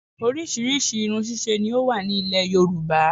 Orísìírísìí irun ṣíṣe ni ó wà ní ilẹ̀ yorùbá